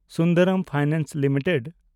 Sundaram finance limited